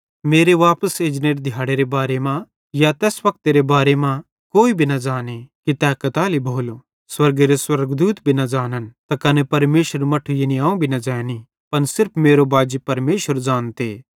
मेरे वापस एजनेरे दिहाड़ेरे बारे मां या तैस वक्तेरे बारे मां कोई भी न ज़ाने कि तै कताली भोलो स्वर्गेरे स्वर्गदूते भी न ज़ानन् त कने परमेशरेरू मट्ठू यानी अवं भी न ज़ैनी पन सिर्फ मेरो बाजी परमेशर ज़ानते